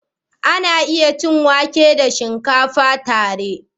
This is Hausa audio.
Za a iya cin wake da shinkafa tare.